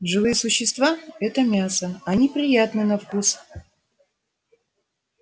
живые существа это мясо они приятны на вкус